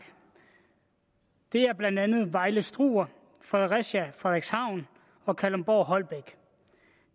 det er blandt andet vejle struer fredericia frederikshavn og kalundborg holbæk